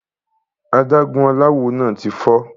Adágún aláwo náà ti fọ́.